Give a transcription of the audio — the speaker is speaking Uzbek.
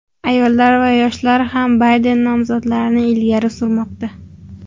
Ayollar va yoshlar ham Bayden nomzodini ilgari surmoqda.